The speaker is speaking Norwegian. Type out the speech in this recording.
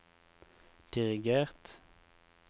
dirigert